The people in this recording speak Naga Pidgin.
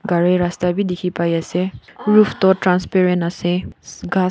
gari rasta bi dikhipaiase roof toh transparent ase ghas--